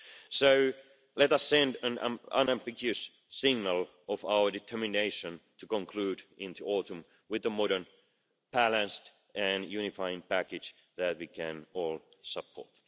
So let us send an unambiguous signal of our determination to conclude in the autumn with a modern balanced and unifying package that we can all support.